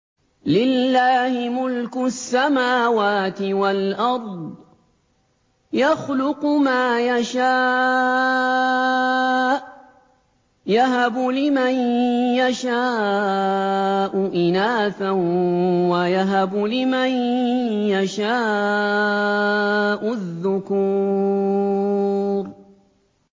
لِّلَّهِ مُلْكُ السَّمَاوَاتِ وَالْأَرْضِ ۚ يَخْلُقُ مَا يَشَاءُ ۚ يَهَبُ لِمَن يَشَاءُ إِنَاثًا وَيَهَبُ لِمَن يَشَاءُ الذُّكُورَ